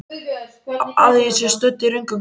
Að ég sé stödd í röngum klefa?